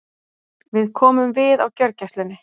Við komum við á gjörgæslunni.